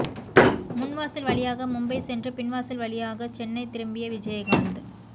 முன்வாசல் வழியாக மும்பை சென்று பின்வாசல் வழியாக சென்னை திரும்பிய விஜயகாந்த்